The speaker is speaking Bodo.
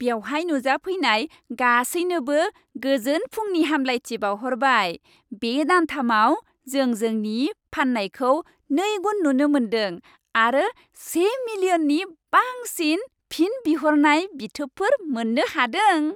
बेवहाय नुजाफैनाय गासैनोबो गोजोन फुंनि हामब्लायथि बावहरबाय। बे दानथामाव जों जोंनि फाननायखौ नैगुन नुनो मोनदों आरो से मिलियननि बांसिन फिन बिहरनाय बिथोबफोर मोन्नो हादों।